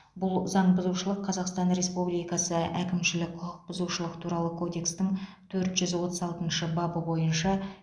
бұл заңбұзушылық қазақстан республикасы әкімшілік құқықбұзушылық туралы кодекстің төрт жүз отыз алтыншы бабы бойынша